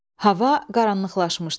Hava qaranlıqlaşmışdı.